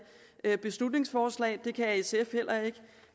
beslutningsforslag det kan sf heller ikke